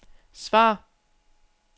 svar